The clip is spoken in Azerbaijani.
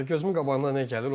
Gözümün qabağına nə gəlir?